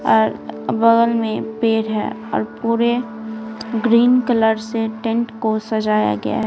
और बगल में पेड़ है और पूरे ग्रीन कलर से टेंट को सजाया गया है।